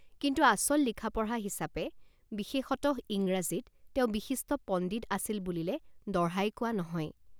কিন্তু আচল লিখাপঢ়৷ হিচাপে বিশেষতঃ ইংৰাজীত তেওঁ বিশিষ্ট পণ্ডিত আছিল বুলিলে দঢ়াই কোৱা নহয়।